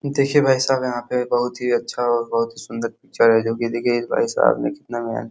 देखिये भाईसाब यहाँ पे बोहोत ही अच्छा और बोहोत ही सूंदर पिक्चर है जोकि देखिये भाईसहब ने कितना --